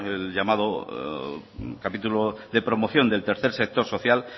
el llamado capítulo de promoción del tercer sector social